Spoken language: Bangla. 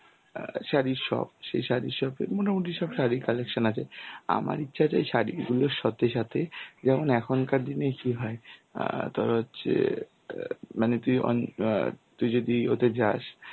অ্যাঁ শাড়ির shop সেই শাড়ির shop এ মোটামুটি সব শাড়ির collection আছে. আমার ইচ্ছা যে শাড়িগুলোর সাথে সাথে যেমন এখনকার দিনে কি হয় অ্যাঁ তোর হচ্ছে অ্যাঁ মানে অন~ অ্যাঁ তুই যদি ওতে যাস